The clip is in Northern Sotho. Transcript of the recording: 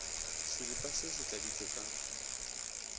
seripa se se tladitšwe ka